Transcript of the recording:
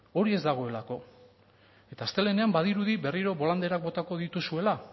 hori ez dagoelako eta astelehenean badirudi berriro bolanderak botako dituzuela